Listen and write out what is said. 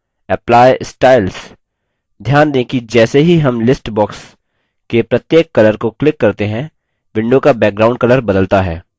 ध्यान दें कि जैसे ही हम list box के प्रत्येक colour को click करते हैं window का background colour बदलता है